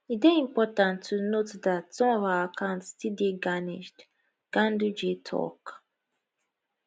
e dey important to note dat some of our accounts still dey garnisheed ganduje tok